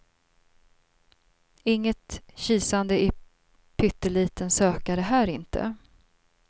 Inget kisande i pytteliten sökare här, inte.